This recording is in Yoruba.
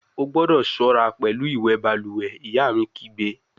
O gbọdọ ṣọra pẹlu iwẹ baluwe, iya mi kigbe!